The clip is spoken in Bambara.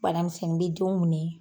Bana misɛnnin bɛ denw minɛ